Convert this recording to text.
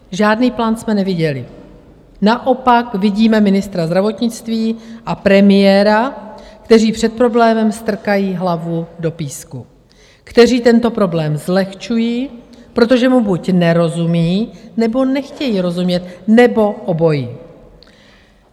Žádný plán jsme neviděli, naopak vidíme ministra zdravotnictví a premiéra, kteří před problémem strkají hlavu do písku, kteří tento problém zlehčují, protože mu buď nerozumí, nebo nechtějí rozumět, nebo obojí.